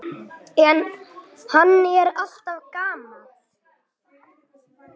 En hann er alltaf gamall.